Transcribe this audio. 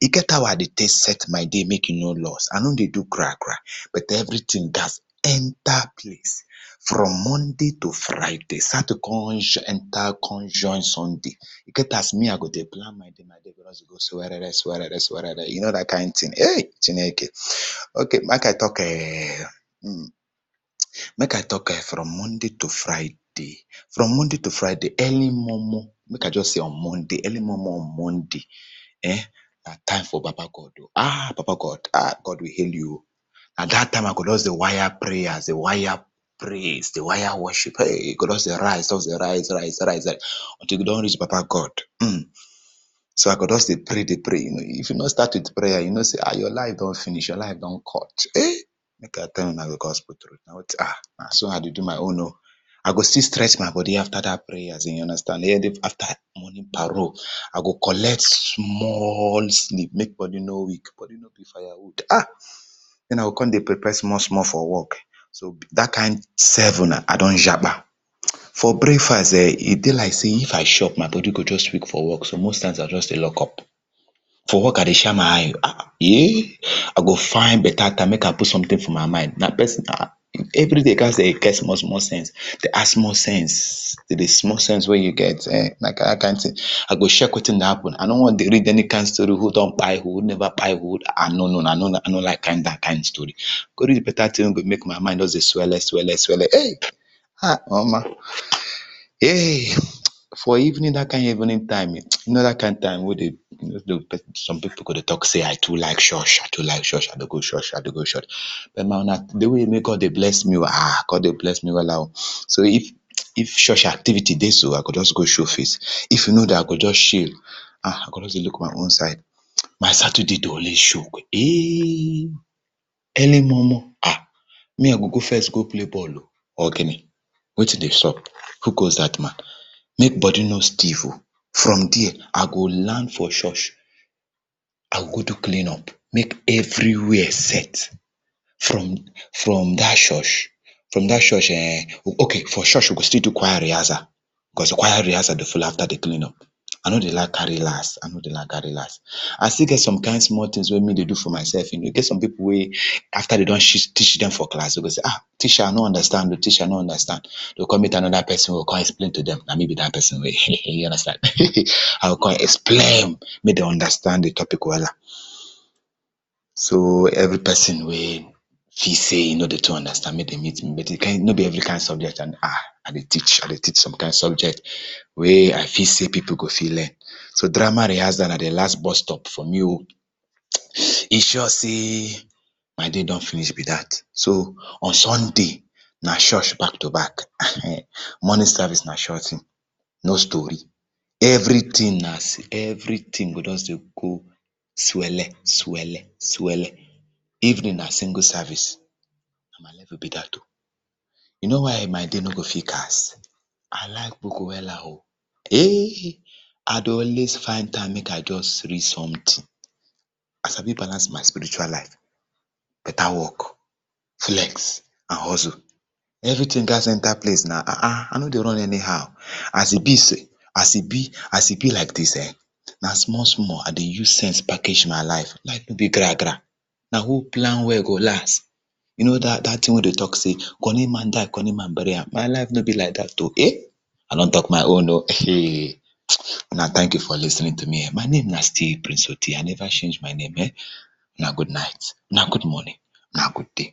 e get how I dey take set my day make e no lost, I nor dey doo gra gra but everything gats enter place from Monday to Friday, sato come enter come join Sunday, e get as me I go dey plan my day, my day go just dey go swerere swerere, you know dat kind thing eh, Chineke eh, okay make I talk [urn] make I talk [urn] from Monday to Friday, from Monday to Friday early momo, make I just say on Monday early momo on Monday eh, na time for baba God oh, ah baba God, God we hail you oh, na dat time I go just dey wire prayers, dey wire praise, dey wir e worship eh, you go just hear hey, e go just dey rise, rise, rise rise, until e go don reach baba God so I go just dey pray dey pray dey pray, if you no start with prayers, you know sey your life don finish, your life don cut eh, make I tell una because na [urn] eh na so I dey do my own oh, I go still stress my body after dat prayers you understand [2] morning parole I go collect small sleep, make body no weak body no be fire wood ah, den I go come dey prepare small small for work so for dat kind seven, I don japa, for breakfast[um]e dey be like sey if I chop my body dey weak for work, so most of di time I dey just lock up, for work I dey shine my eye oh, eh I go find better time make I put something for my mind na person ah, every day you gats dey get small small sense, dey add small sense to di small sense wey you get,[um], na dat kind thing, I go check wetin dey happen I nor wan dey read any story who don kpai who, who never kpai who, I nor no no no no I nor like dat kind story, I go read better thing wey go make my mind dey swelle swelle hey, omo heey, for evening dat kind evening time you know dat kind time wey some people go dey talk sey I too like church, I too like church I don go church I dey go church, but na wetin make god dey bless me oh, god dey bless me wella oh, so if church activity dey so, I go just go show face, if e no dey, I go just chill I go just dey look my own side. My Saturday dey always choke, eeh, early momo me I go first go play ball oh, ogini, wetin dey xup? Who goes dat man, make body no steef oh, from there I go land for church, I go go do clean up make everywhere set, from from dat church, from dat church [urn] okay for church we go still do choir rehearsal, because di choir rehearsal dey follow after di clean up, I nor dey like carry last I nor dey like carry last, I still get some kind small things wey me dey do for myself oh, you know e get some kind people wey after dem don cheat, teach dem for class dem go ah, teacher I no understand oh, teacher I no understand, dem go come meet another person wey go come explain to dem. Na m e be dat person [urn] you understand, I go come explain make dem understand di topic wella. So every person wey feel sey e no dey too understand make dem meet me, but no be every kind subject I dey, ah I dey teach. I dey teach some kind subject wey I feel sey people go fit learn, so drama rehearsal na di last bus stop for me oh, e sure sey my day don finish be dat, so on Sunday na church back to back [urn] morning service na sure thing, no story everything go just dey go, every thing go just dey go swelle swelle swelle. Evening na single service na my level be dat oh, you know why I my day no go fit cast, I like book wella oh, eh, I dey always find time make I just read something, I sabi balance my spiritual life, better work, flex and hustle, everything gats enter place, na ahn ahn I nor dey run any how, as e be sey, as e be, as e be like dis[um], na small small, I dey use sense package my life, my life no dey gra gra, na who plan well go last you dat thing wey dem talk sey, kunny man die kunny man burry am, my life no be like dat oh eh, I don talk my own oh, una thank you for lis ten ing to me, my name na still prince Oti, I never change my name[um], una good night, una good morning, una good day.